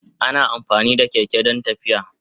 Ana amfani da keke don tafiya.